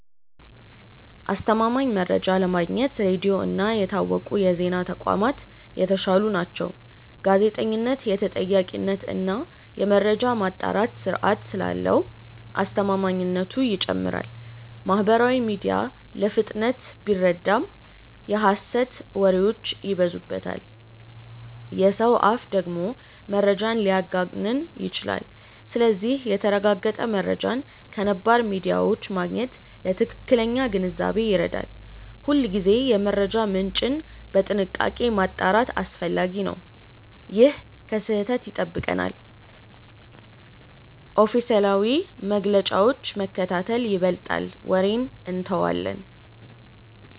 አስተማማኝ መረጃ ለማግኘት ሬዲዮ እና የታወቁ የዜና ተቋማት የተሻሉ ናቸው። ጋዜጠኝነት የተጠያቂነት እና የመረጃ ማጣራት ስርዓት ስላለው አስተማማኝነቱ ይጨምራል። ማህበራዊ ሚዲያ ለፍጥነት ቢረዳም የሐሰት ወሬዎች ይበዙበታል። የሰው አፍ ደግሞ መረጃን ሊያጋንን ይችላል። ስለዚህ የተረጋገጠ መረጃን ከነባር ሚዲያዎች ማግኘት ለትክክለኛ ግንዛቤ ይረዳል። ሁልጊዜ የመረጃ ምንጭን በጥንቃቄ ማጣራት አስፈላጊ ነው። ይህ ከስህተት ይጠብቀናል። ኦፊሴላዊ መግለጫዎችን መከታተል ይበልጣል ወሬን እንተዋለን።